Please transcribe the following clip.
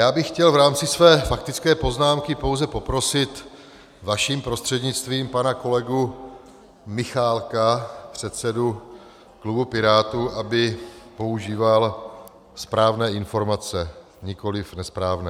Já bych chtěl v rámci své faktické poznámky pouze poprosit vaším prostřednictvím pana kolegu Michálka, předsedu klubu Pirátů, aby používal správné informace, nikoliv nesprávné.